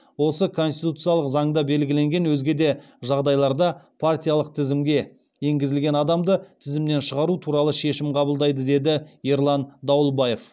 осы конституциялық заңда белгіленген өзге де жағдайларда партиялық тізімге енгізілген адамды тізімнен шығару туралы шешім қабылдайды деді ерлан дауылбаев